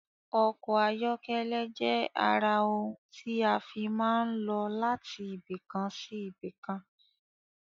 Ọkọ̀ ayọ́kẹ́lẹ́ jẹ ara ohun ti a fii máa ń lọ láti ibìkan sí ibìkan